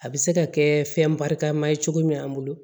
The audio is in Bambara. A bɛ se ka kɛ fɛn barikama ye cogo min an bolo